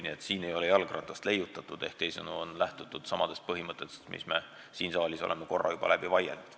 Nii et siin ei ole jalgratast leiutatud, vaid on lähtutud samadest põhimõtetest, mis me siin saalis oleme korra juba läbi vaielnud.